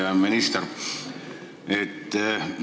Hea minister!